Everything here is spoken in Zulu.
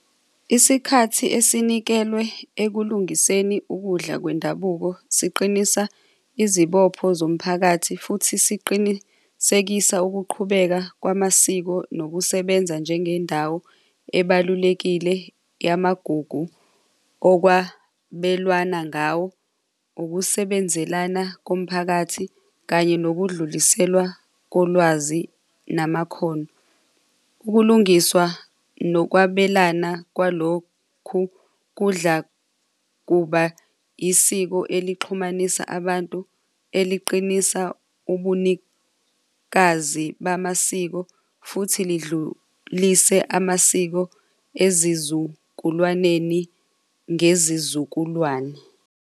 Isikhathi esinikelwe ekulingiseni ukudla kwendabuko, siqinisa izibopho zomphakathi futhi siqinisekisa ukuqhubeka kwamasiko nokusebenza njengendawo ebalulekile yamagugu okwabelwana ngawo ukusebenzelana komphakathi kanye nokudluliselwa kolwazi namakhono. Ukulungiswa nokwabelana kwalokhu kudla kuba isiko elixhumanisa abantu eliqinisa ubunikazi bamasiko futhi lidlulise amasiko ezizukulwaneni ngezizukulwane.